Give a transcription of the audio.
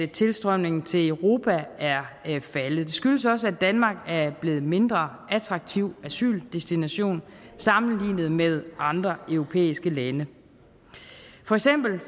tilstrømningen til europa er faldet det skyldes også at danmark er blevet en mindre attraktiv asyldestination sammenlignet med andre europæiske lande for eksempel